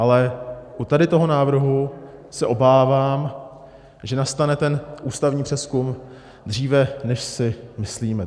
Ale tady u toho návrhu se obávám, že nastane ten ústavní přezkum dříve, než si myslíme.